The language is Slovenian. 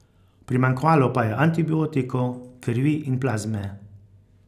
Primanjkovalo pa je antibiotikov, krvi in plazme.